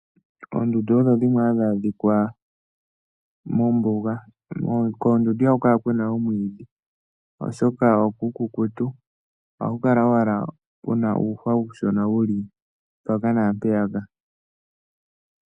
Oondundu odho dhimwe hadhi adhika mombuga. Koondundu ihaku kala ku na omwiidhi, oshoka okuukukutu, ohaku kala owala ku na uuhwa uushona wu li mpaka naampeyaka.